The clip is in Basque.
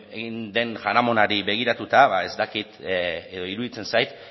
egin den jaramonari begiratuta ba ez dakit edo iruditzen zait